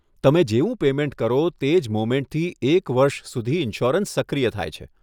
તમે જેવુ પેમેન્ટ કરો તે જ મોમેન્ટ થી એક વર્ષ સુધી ઈન્સ્યોરન્સ સક્રિય થાય છે.